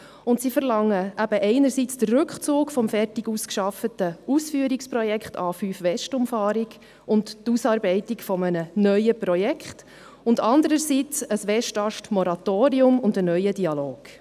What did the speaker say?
Sie verlangen einerseits den Rückzug des fertig ausgearbeiteten Ausführungsprojekts A5-Westumfahrung und die Ausarbeitung eines neuen Projekts und andererseits ein Westast-Moratorium sowie einen neuen Dialog.